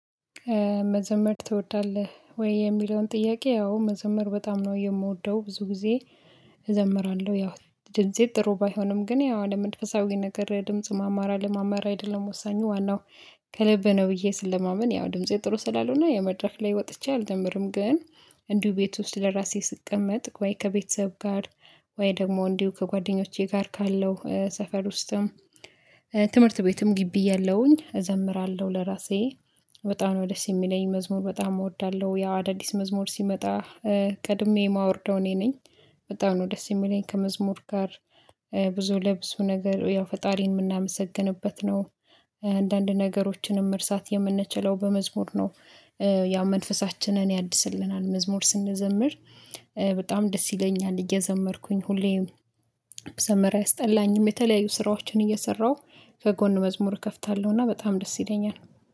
መዘመር ትወዳለህ ወይ የሚለውን ጥያቄ? ያው መዘመር በጣም ነው የምወደው ብዙ ጊዜ እዘምራለሁ። ያው ድምፄ ጥሩ ባይሆንም ግን ያው አለመንፈሳዊ ነገር ድምጽ ማማራ አለማማር አይደለም ወሳኙ ዋናው ከልብ ነው ብዬ ስለማመን ያው ድምፄ ጥሩ ስላልሆነ መድረክ ላይ ወጥቼ አልዘምርም። ግን እንዲሁ ቤት ውስጥ ለራሴ ስቀመጥ ወይ ከቤተሰብ ጋር ወይ ደግሞ እንዲሁ ከጓደኞቼ ጋር ካለው ሰፈር ውስጥም ትምህርት ቤትም ግቢ እያለሁኝ እዘምራለሁ። ለራሴ በጣም ነው ደስ የሚለኝ መዝሙር በጣም እወዳለሁ። ያው አዳዲስ መዝሙር ሲመጣ ቀድሜ የማወርደው እኔ ነኝ። በጣም ነው ደስ የሚለኝ ከመዝሙር ጋር ብዙ ለብዙ ነገር ያው ፈጣሪን የምናመሰግንበት ነው። አንዳንድ ነገሮችንም ማርሳት የምንችለው በመዝሙር ነው። ያ መንፈሳችንን ያድስልናል መዝሙር ስንዘምር በጣም ደስ ይለኛል። እየዘመርኩኝ ሁሌም መዘመር አያስጠላኝም። የተለያዩ ስራዎችን እየሰራሁ ከጎን መዝሙር እከፍታለሁና በጣም ደስ ይለኛል